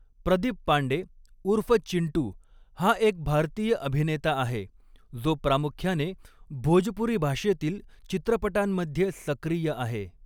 प्रदीप पांडे, उर्फ 'चिंटू', हा एक भारतीय अभिनेता आहे, जो प्रामुख्याने भोजपुरी भाषेतील चित्रपटांमध्ये सक्रिय आहे.